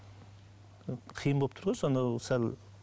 қиын болып тұр ғой соны сәл